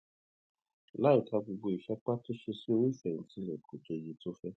láìka gbogbo ìsapá tó ṣe sí owó ìfèyìntì rè kò tó iye tó fé